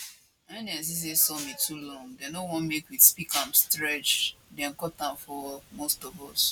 wen dem see say some e too long dem no want make we speak am stretch dem cut am for most of us